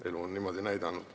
Elu on niimoodi näidanud.